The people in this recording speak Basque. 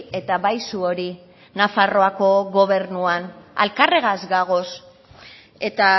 eta bai zuori nafarroako gobernuan elkarregaz gagoz eta